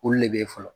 Olu de bɛ ye fɔlɔ